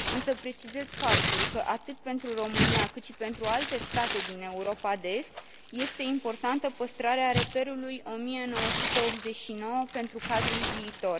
Însă precizez faptul că, atât pentru România, cât și pentru alte state din Europa de Est, este importantă păstrarea reperului 1989 pentru cadrul viitor.